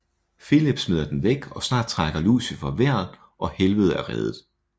Filip smider den væk og snart trækker Lucifer vejret og Helvede er reddet